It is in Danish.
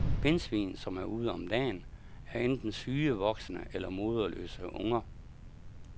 Pindsvin, som er ude om dagen, er enten syge voksne eller moderløse unger.